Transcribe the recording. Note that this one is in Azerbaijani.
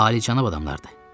Alicənab adamlardır.